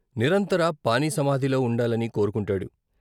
నిరంతర పాని సమాధిలో ఉండాలని కోరుకుం టాడు.